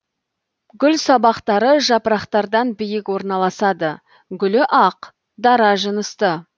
гүл сабақтары жапырақтардан биік орналасады гүлі ақ дара жынысты